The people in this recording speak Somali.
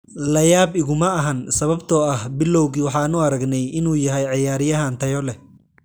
La yaab iguma ahan sababtoo ah bilowgii waxaan u aragnay inuu yahay ciyaaryahan tayo leh.